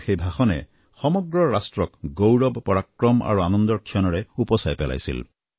তেওঁৰ সেই ভাষণে সমগ্ৰ ৰাষ্ট্ৰক গৌৰৱ পৰাক্ৰম আৰু আনন্দৰ ক্ষণেৰে উপচাই পেলাইছিল